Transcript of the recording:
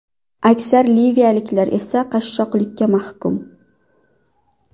Aksar liviyaliklar esa qashshoqlikka mahkum.